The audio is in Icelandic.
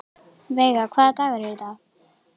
Veiga, hvaða dagur er í dag?